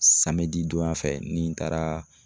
donya fɛ ni n taara